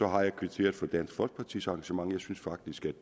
har jeg kvitteret for dansk folkepartis engagement jeg synes faktisk at